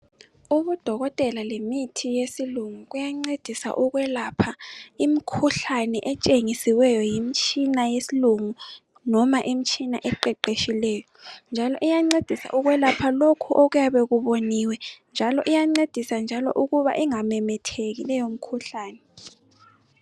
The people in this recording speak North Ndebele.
Odokotela lemithi yesilungu kuyancedisa ukwelapha imkhuhlane etshengisiweyo yimtshina yesilungu noma imitshina eqeqetshileyo. Njalo iyancedisa ukwelapha lokhu okuyabe kuboniwe njalo iyancedisa ukuba ingamemetheki leyo mikhuhlane.